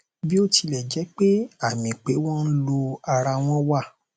bí ó tilẹ jẹ pé àmì pé wọn ń lọ ara wọn wà